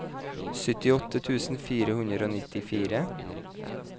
syttiåtte tusen fire hundre og nittifire